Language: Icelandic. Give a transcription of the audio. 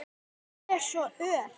Hann er svo ör!